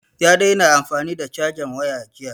Ya daina amfani da cajan wayan jiya